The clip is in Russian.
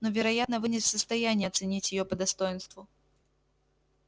но вероятно вы не в состоянии оценить её по достоинству